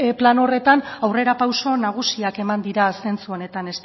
plan horretan aurrerapauso nagusiak eman dira zentzu honetan